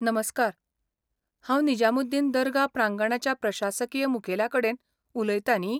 नमस्कार, हांव निजामुद्दीन दर्गा प्रांगणाच्या प्रशासकीय मुखेल्या कडेन उलयतां न्ही?